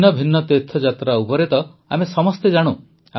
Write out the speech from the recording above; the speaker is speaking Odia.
ଭିନ୍ନ ଭିନ୍ନ ତୀର୍ଥଯାତ୍ରା ଉପରେ ତ ଆମେ ସମସ୍ତେ ଜାଣୁ